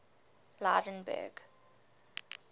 lydenburg